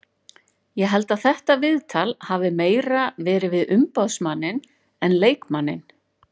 Ég held að þetta viðtal hafi meira verið við umboðsmanninn en leikmanninn.